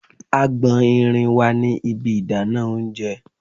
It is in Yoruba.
Agbọ̀n irin wà ní ibi ìdáná oúnjẹ.